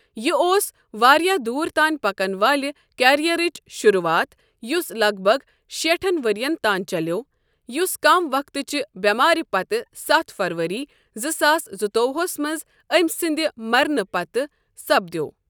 یہِ اوس واریاہ دوٗر تانۍ پَکن والہِ کیریَرٕچ شُروٗعات، یُس لگ بگ شیٹھن ؤرِین تان چَلیٛوو، یُس کم وقتٕچہِ بٮ۪مارِ پتہٕ ستھ فرؤری، زٕ ساس زٕتووہس منٛز أمۍ سٕنٛدِ مرنہٕ پتھٕ سپدیوو۔